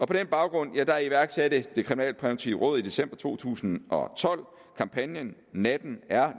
på den baggrund iværksatte det kriminalpræventive råd i december to tusind og tolv kampagnen natten er